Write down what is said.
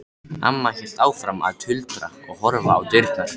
Amma hélt áfram að tuldra og horfa á dyrnar.